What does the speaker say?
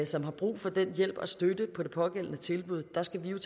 som har brug for den hjælp og støtte på det pågældende tilbud der skal